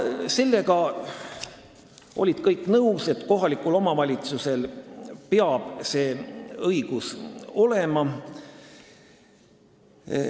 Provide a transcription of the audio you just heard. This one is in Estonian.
Sellega olid kõik nõus, et kohalikul omavalitsusel peab see õigus olema.